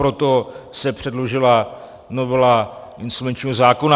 Proto se předložila novela insolvenčního zákona.